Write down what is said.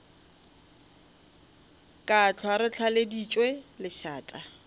ka hlwa re tlaleditšwe lešata